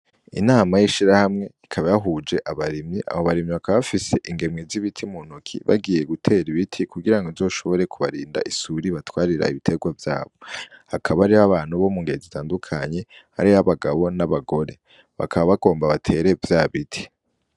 Inama y'ishira hamwe ikaba yahuje abarimyi abo barimyi akabafise ingemwe z'ibiti mu ntoki bagiye gutera ibiti kugira ngo nzoshobore kubarinda isuri batwarira ibiterwa vyabo hakabari h abantu bo mu ngenzi zitandukanye ari ho abagabo n'abagore bakaba bagomba batere vya biti.